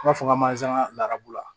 N b'a fɔ ka manzan narabu la